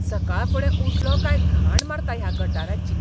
सकाळफुडें उठलों काय घाण मारता ह्या गटाराची.